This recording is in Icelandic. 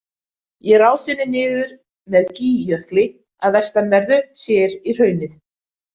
Í rásinni niður með Gígjökli að vestanverðu sér í hraunið.